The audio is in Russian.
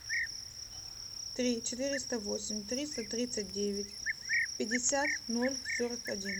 три четыреста восемь триста тридцать девять пятьдесят ноль сорок один